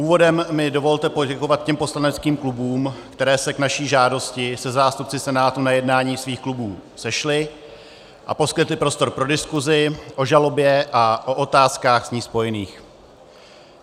Úvodem mi dovolte poděkovat těm poslaneckých klubům, které se k naší žádosti se zástupci Senátu na jednání svých klubů sešly a poskytly prostor pro diskuzi o žalobě a o otázkách s ní spojených.